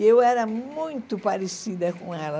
E eu era muito parecida com ela.